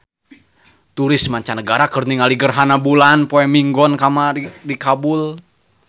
Turis mancanagara keur ningali gerhana bulan poe Minggon di Kabul